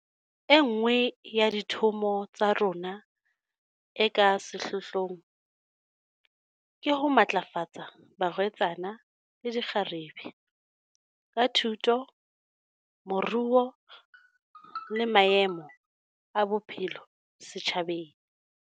E nngwe ya dithomo tsa rona e ka sehlohlong ke ho matlafatsa barwetsana le dikgarebe, ka thuto, moruo le maemo a bophelo setjhabeng.